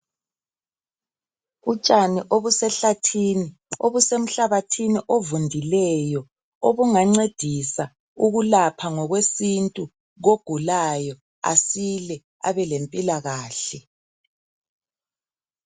Utshani obusehlathini obusemhlabathini ovundileyo obungancedisa ukulapha ngokwesintu kogulayo asila abelempilakahle.